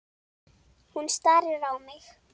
Hann starir á mig.